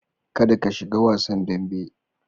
Kada ka shiga wasan dambe.